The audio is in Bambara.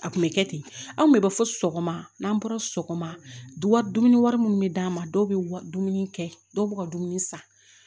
A kun bɛ kɛ ten anw kun bɛ bɔ sɔgɔma n'an bɔra sɔgɔma dumuni bɛ d'a ma dɔw bɛ dumuni kɛ dɔw b'u ka dumuni san